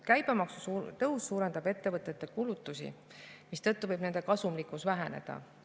Käibemaksu tõus suurendab ettevõtete kulutusi, mistõttu võib nende kasumlikkus väheneda.